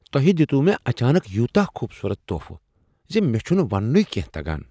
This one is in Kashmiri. توہِہ دِیُت وُہ مے اچانک یوتاہ خوبصورت تحفہٕ زِ مےٚ چھُنہ وننُے کیٚنہہ تگان۔